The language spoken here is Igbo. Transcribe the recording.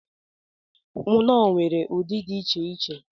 Knorr nwere ụdị dị iche iche.